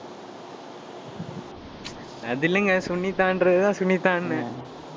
அது இல்லைங்க, சுனிதான்றதுதான் சுனிதான்னு.